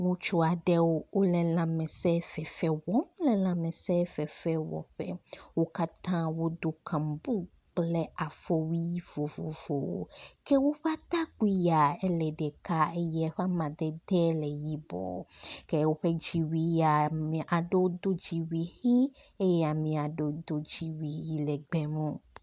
Ŋutsu aɖe wo le lãmesefefe wɔm. wo le lãmesefefe wɔƒe. Wo katã wodo kaŋbu kple afɔwui vovovowo ke woƒe atakpui yae le ɖeka eye eƒe amadede le yibɔ ke woƒe dziwui ya ame aɖewo do dziwui ʋi eye ame aɖewo do dziwui yi le egbemu.